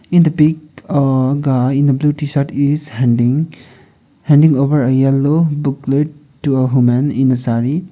in the pic a guy in the blue t-shirt is handing handing over a yellow booklet to a homen in a saree.